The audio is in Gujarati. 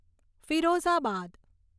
ફિરોઝાબાદ